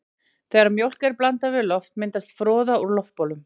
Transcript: Þegar mjólk er blandað við loft myndast froða úr loftbólum.